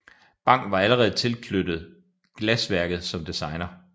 Bang var allerede tilknyttet glasværket som designer